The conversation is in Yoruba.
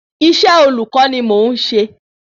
Isẹ́ olùkọ́ ni mò n ṣe